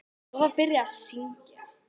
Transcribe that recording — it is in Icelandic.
Svo var byrjað að syngja.